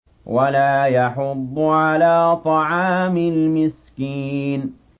وَلَا يَحُضُّ عَلَىٰ طَعَامِ الْمِسْكِينِ